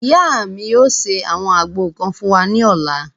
Ìyá mi yóò ṣe àwọn àgbo kan fún wa ní ọ̀la